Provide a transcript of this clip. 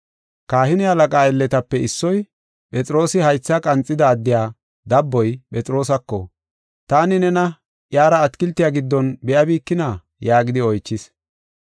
Kahine halaqaa aylletape issoy, Phexroosi haythaa qanxida addiya dabboy, Phexroosako, “Taani nena iyara atakiltiya giddon be7abikina?” yaagidi oychis.